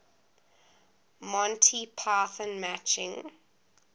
monty python matching